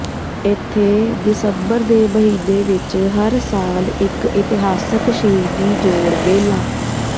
ਇੱਥੇ ਦਸੰਬਰ ਦੇ ਮਹੀਨੇ ਵਿੱਚ ਹਰ ਸਾਲ ਇੱਕ ਇਤਿਹਾਸਕ ਸ਼ਹੀਦੀ ਜੋੜ ਮੇਲਾ